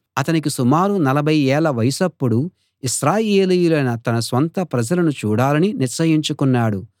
అతనికి సుమారు నలభై ఏళ్ళ వయసప్పుడు ఇశ్రాయేలీయులైన తన స్వంత ప్రజలను చూడాలని నిశ్చయించుకున్నాడు